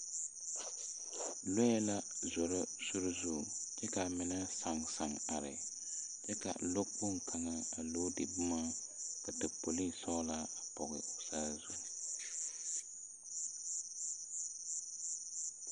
Lɔɛ la zoro sore zu kyɛ kaa mine sããŋ sããŋ are kyɛ ka lɔ kpoŋ kaŋe a loodi bomma ka tapolii sɔglaa a pɔge o saazu.